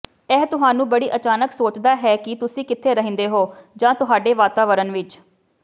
ਇਹ ਤੁਹਾਨੂੰ ਬੜੀ ਅਚਾਣਕ ਸੋਚਦਾ ਹੈ ਕਿ ਤੁਸੀਂ ਕਿੱਥੇ ਰਹਿੰਦੇ ਹੋ ਜਾਂ ਤੁਹਾਡੇ ਵਾਤਾਵਰਣ ਵਿੱਚ